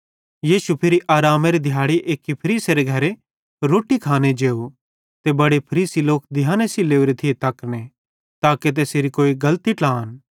यीशु फिरी आरामेरे दिहाड़े एक्की फरीसेरे घरे रोट्टी खाने जेव त बड़े फरीसी लोक ध्याने सेइं लोरे थिये तकने ताके तैसेरी कोई गलती ट्लान